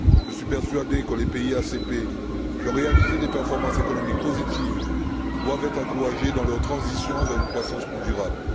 Je suis persuadé que les pays ACP qui ont réalisé des performances économiques positives doivent être encouragés dans leur transition vers une croissance plus durable